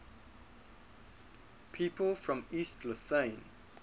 people from east lothian